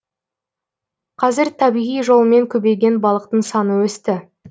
қазір табиғи жолмен көбейген балықтың саны өсті